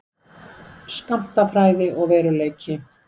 Skammtafræði og veruleiki.